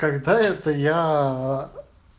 когда это я а